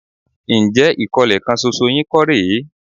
Ǹjẹ́ ìkólẹ̀ kan ṣoṣo yín kọ́ rè é?